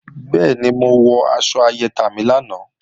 Bẹ́ẹ̀ni, mo wọ aṣọ ayẹta mi lánàá